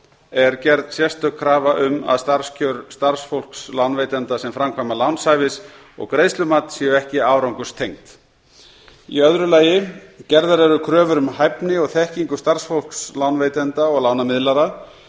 er gerð sérstök krafa um að starfskjör starfsfólks lánveitenda sem framkvæma lánshæfis og greiðslumat séu ekki árangurstengd annarrar gerðar eru kröfur um hæfni og þekkingu starfsfólks lánveitenda og lánamiðlara